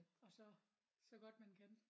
Og så så godt man kan